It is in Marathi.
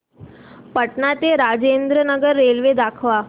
पटणा ते राजेंद्र नगर रेल्वे दाखवा